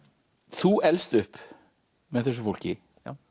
þú elst upp með þessu fólki